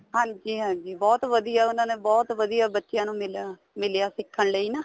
ਹਾਂਜੀ ਹਾਂਜੀ ਬਹੁਤ ਵਧੀਆ ਉਹਨਾ ਨੇ ਬਹੁਤ ਵਧੀਆ ਬੱਚਿਆਂ ਨੂੰ ਮਿਲਿਆ ਮਿਲਿਆ ਸਿੱਖਣ ਲਈ ਨਾ